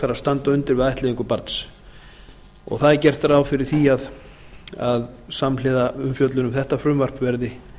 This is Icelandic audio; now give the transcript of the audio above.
að standa undir við ættleiðingu barns það er gert ráð fyrir því að samhliða umfjöllun um þetta frumvarp verði